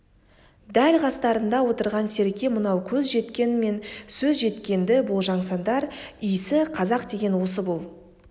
дәл қастарыңда отырған серке мынау көз жеткен мен сөз жеткенді болжасаңдар исі қазақ деген осы бұл